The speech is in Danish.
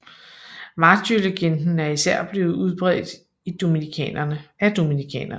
Martyrlegenden er især blevet udbredt af dominikanerne